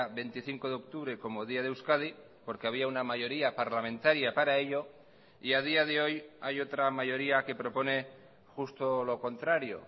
veinticinco de octubre como día de euskadi porque había una mayoría parlamentaria para ello y a día de hoy hay otra mayoría que propone justo lo contrario